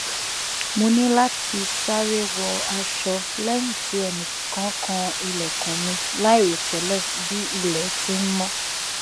mo ni lati sare wọ aṣọ lẹyin ti ẹnikan kan ilẹkun mi lairotẹlẹ bi ilẹ ti n mó